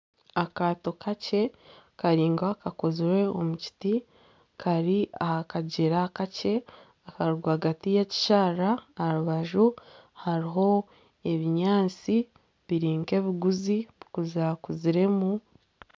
Akaato kakye kari nkakakozirwe omu kiti kari aha kagyera kakye akari rwagati yekisharara aha rubaju hariho ebinyaatsi biri nka ebiguzi bukuzakuziremu